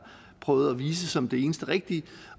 prøvet at vise som det eneste rigtige